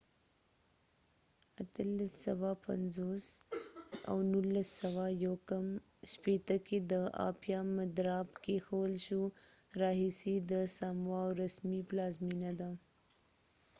1850 کې د آپیا مدراب کېښول شو او 1959 راهیسې د سامووا رسمي پلازمېنه ده